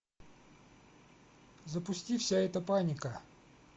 запусти вся эта паника